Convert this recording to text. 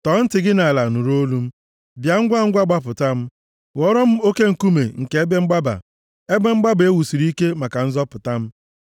Tọọ ntị gị nʼala nụrụ olu m, bịa ngwangwa gbapụta m; ghọọrọ m oke nkume nke ebe mgbaba, ebe mgbaba e wusiri ike maka nzọpụta m.